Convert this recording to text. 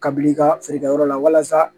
Kabi i ka feerekɛyɔrɔ la walasa